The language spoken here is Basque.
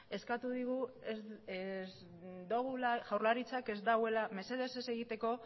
eskatu digu mesedez ez egiteko